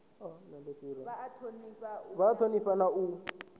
vha a thonifha na u